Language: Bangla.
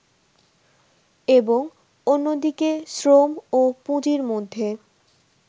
এবং অন্যদিকে শ্রম ও পুঁজির মধ্যে